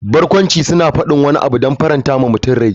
Barkwanci suna faɗin wani abu don faranta wa mutum rai.